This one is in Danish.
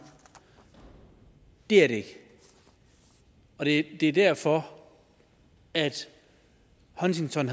det er det ikke og det er derfor at huntington